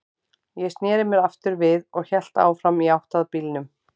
Ég sneri mér aftur við og hélt áfram í átt að bílnum.